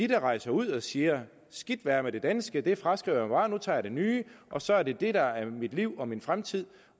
der rejser ud og siger skidt være med det danske det fraskriver bare nu tager jeg det nye og så er det det der er mit liv og min fremtid